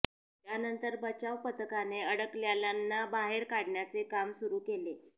त्यानंतर बचाव पथकाने अडकलेल्यांना बाहेर काढण्याचे काम सुरू केले